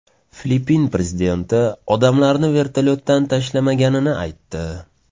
Filippin prezidenti odamlarni vertolyotdan tashlamaganini aytdi.